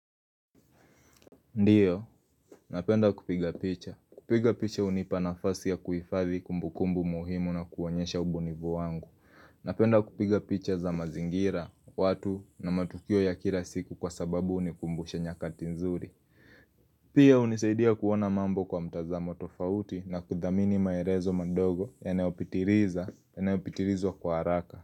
Ndiyo, napenda kupiga picha. Kupiga picha hunipa nafasi ya kuhifadhi kumbukumbu muhimu na kuonyesha ubunivu wangu. Napenda kupiga picha za mazingira, watu na matukio ya kila siku kwa sababu hunikumbusha nyakati nzuri. Pia hunisaidia kuona mambo kwa mtazamo tofauti na kudhamini maelezo madogo yanayopitiriza, yanayopitirzwa kwa haraka.